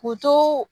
K'u to